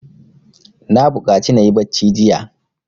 Na buƙaci na yi bacci jiya.